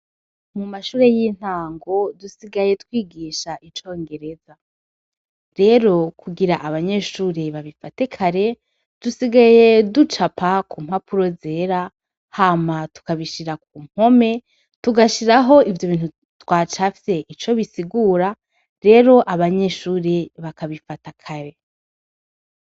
Mu mashure y'intango dusigaye twigisha icongereza rero kugira abanyeshure babifate kare, dusigaye ducupa kumpapuro zera hama tukabishira kumpome, dugashiraho ibintu twacafye ico bisigura rero abanyeshure bakabifata kare.